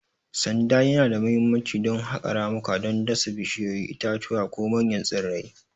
Sanda yana da mahimmanci don haƙa ramuka don dasa bishiyoyi, itatuwa, ko manyan tsirrai.